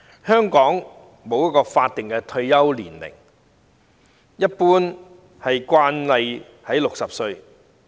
香港沒有法定退休年齡，一般的慣例是60歲。